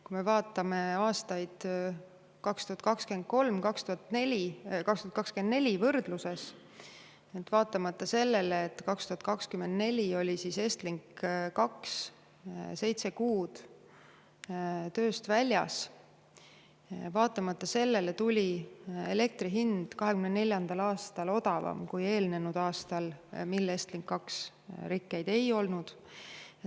Kui me vaatame aastaid 2023 ja 2024 võrdluses, siis näeme, et vaatamata sellele, et 2024 oli Estlink 2 seitse kuud tööst väljas, tuli elektri hind 2024. aastal odavam kui eelnenud aastal, kui Estlink 2 rikkeid ei olnud.